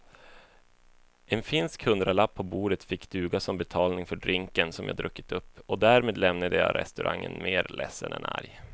En finsk hundralapp på bordet fick duga som betalning för drinken som jag druckit upp och därmed lämnade jag restaurangen mer ledsen än arg.